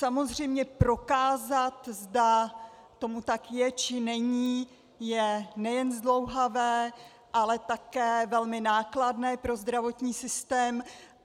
Samozřejmě prokázat, zda tomu tak je, či není, je nejen zdlouhavé, ale také velmi nákladné pro zdravotní systém.